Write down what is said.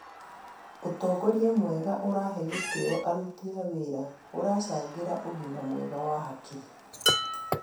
Ũtongoria mwega ũrahe gĩtĩo aruti a wĩra ũracangĩra ũgima mwega wa hakiri.